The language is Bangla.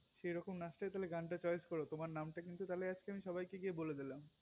সেরকম নাচটাই তালে গানটা choice করো তোমার নামটা তালে আজকে আমি সবাইকে বলে দিলাম